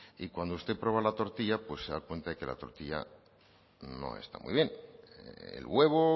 y cuando usted prueba la tortilla pues se da cuenta de que la tortilla no está muy bien el huevo